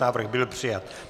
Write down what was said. Návrh byl přijat.